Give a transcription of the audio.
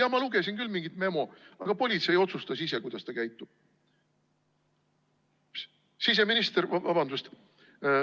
Jaa, ma lugesin küll mingit memo, aga politsei otsustas ise, kuidas ta käitub.